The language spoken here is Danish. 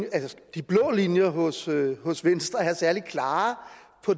de blå linjer hos hos venstre er særlig klare